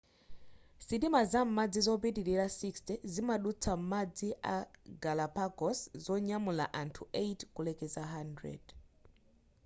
sitima zam'madzi zopitilira 60 zimadutsa m'madzi a galapagos-zonyamula anthu 8 kulekeza 100